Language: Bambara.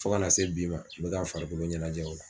Fo ka na se bi ma n bɛ ka n farikolo ɲɛnajɛ o la.